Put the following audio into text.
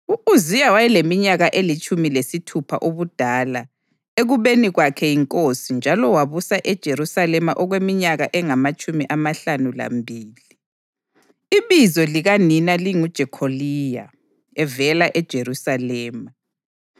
U-Uziya wayeleminyaka elitshumi lesithupha ubudala ekubeni kwakhe yinkosi njalo wabusa eJerusalema okweminyaka engamatshumi amahlanu lambili. Ibizo likanina linguJekholiya; evela eJerusalema.